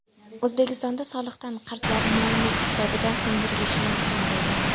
O‘zbekistonda soliqdan qarzlar mol-mulk hisobidan undirilishi mumkin bo‘ldi.